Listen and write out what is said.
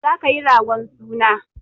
Za ka yi ragon suna!